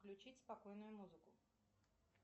включить спокойную музыку